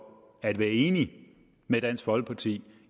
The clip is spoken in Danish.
at være enige med dansk folkeparti